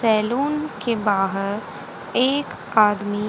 salon के बाहर एक आदमी--